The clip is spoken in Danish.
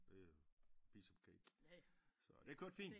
Det er piece of cake så det kørte fint